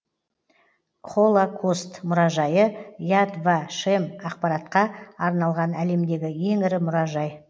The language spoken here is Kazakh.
холакост мұражайы яд ва шем ақпаратқа арналған әлемдегі ең ірі мұражай